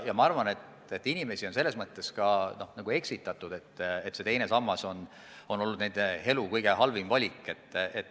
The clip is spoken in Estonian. Ja ma arvan ka, et inimesi on eksitatud väitega, et teine sammas on olnud nende elu kõige halvem valik.